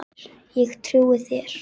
Ég trúi þér